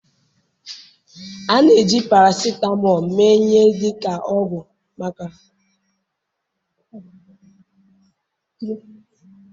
a na-eji paracetamol mee ihe dị ka ọgwụ maka nkwụsị mgbu na ibelata ahụ ọkụ.